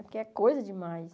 Porque é coisa demais.